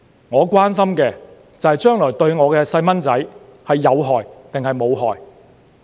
我關心的，就是將來對我的小朋友有害還是無害。